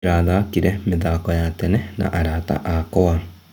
Ndĩrathakire mĩthako ya tene na arata akwa.